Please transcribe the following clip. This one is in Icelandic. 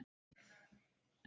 Við megum muna betri tíma.